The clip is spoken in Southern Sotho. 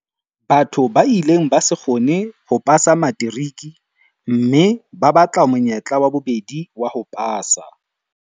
Batho ba ileng ba se kgone ho pasa materiki mme ba batla monyetla wa bobedi wa ho pasa.